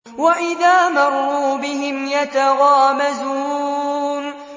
وَإِذَا مَرُّوا بِهِمْ يَتَغَامَزُونَ